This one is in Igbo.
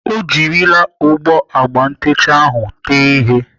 Ọ jirila ogbo agba ntecha ahụ tee ihe.